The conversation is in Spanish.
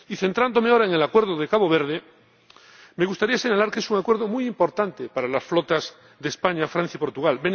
Y centrándome ahora en el Acuerdo con Cabo Verde, me gustaría señalar que es un acuerdo muy importante para las flotas de España, Francia y Portugal.